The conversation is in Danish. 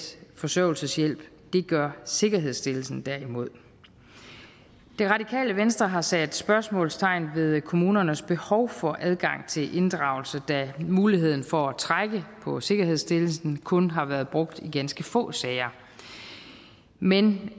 forsørgelseshjælp det gør sikkerhedsstillelsen derimod det radikale venstre har sat spørgsmålstegn ved kommunernes behov for adgang til inddragelse da muligheden for at trække på sikkerhedsstillelsen kun har været brugt i ganske få sager men